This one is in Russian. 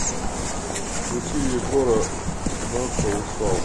включи егора натса устал